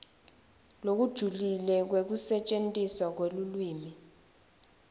lokujulile kwekusetjentiswa kwelulwimi